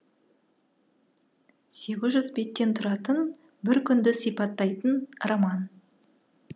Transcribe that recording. сегіз жүз беттен тұратын бір күнді сипаттайтын роман